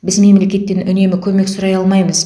біз мемлекеттен үнемі көмек сұрай алмаймыз